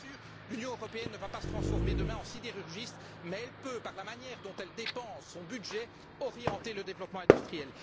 Alors, bien sûr, l'Union européenne ne va pas se transformer demain en sidérurgiste, mais elle peut, par la manière dont elle dépense son budget, orienter le développement industriel.